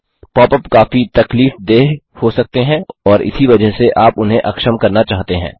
pop ups काफी तकलीफदेह हो सकते हैं और इसी वजह से आप उन्हें अक्षम करना चाहते हैं